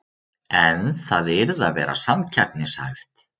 En það yrði að vera samkeppnishæft